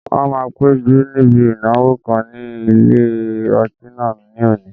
Wọ́n máa péjú níbi ìnáwó kan ní ilé ọtí náà ní òní